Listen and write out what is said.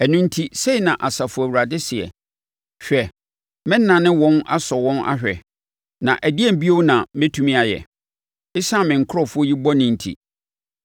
Ɛno enti, sei na Asafo Awurade seɛ, “Hwɛ, mɛnane wɔn asɔ wɔn ahwɛ, na ɛdeɛn bio na mɛtumi ayɛ ɛsiane me nkurɔfoɔ yi bɔne nti?